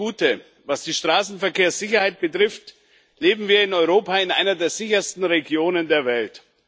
Zuerst die gute Was die Straßenverkehrssicherheit betrifft, leben wir in Europa in einer der sichersten Regionen der Welt.